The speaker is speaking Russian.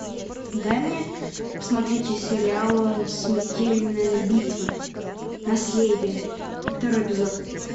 дай мне посмотреть сериал смертельная битва наследие второй эпизод